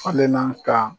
Falenna ka